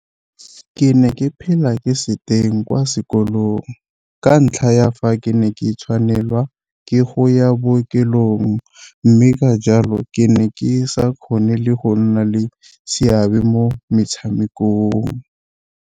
Ke ne ke phela ke se teng kwa sekolong ka ntlha ya fa ke ne ke tshwanelwa ke go ya bookelong mme ka jalo ke ne ke sa kgone le go nna le seabe mo metshamekong.